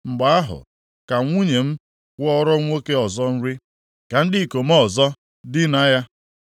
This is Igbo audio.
mgbe ahụ, ka nwunye m kwọọrọ nwoke ọzọ nri, ka ndị ikom ọzọ dinaa ya.